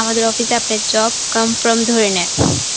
আমাদের office এ আপনার job confirm ধরে নেন.